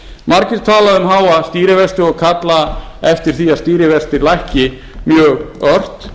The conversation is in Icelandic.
margir tala um háa stýrivexti og kalla eftir var að stýrivextir lækki mjög ort